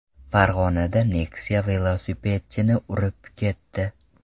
Farg‘onada Nexia velosipedchini urib ketdi.